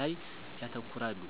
ላይ ያተኩራሉ።